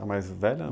A mais velha?